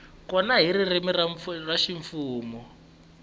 kona hi ririmi ra ximfumo